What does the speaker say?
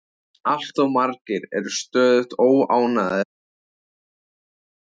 Allt of margir eru stöðugt óánægðir með aldur sinn.